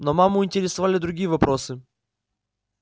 но маму интересовали другие вопросы